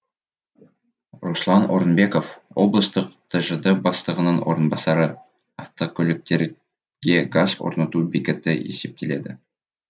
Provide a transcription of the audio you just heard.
руслан орынбеков облыстық тжд бастығының орынбасары автокөліктерге газ орнату бекеті есептеледі